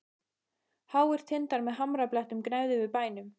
Háir tindar með hamrabeltum gnæfðu yfir bænum.